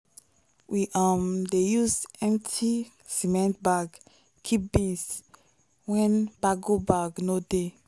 we um dey use empty cement bag keep beans when bago sack no dey.